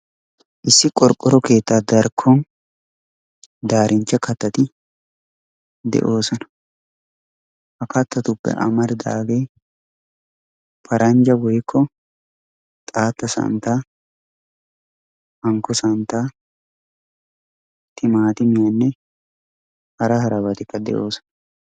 Issi qorqqoro keettaa darkkon darinchcha kattati de"oosona. Ha kattatuppe amaridaagee paranjja woykko xaatta santtaa hankko santtaa timaatimiyaanne hara harabatikka de"oosona.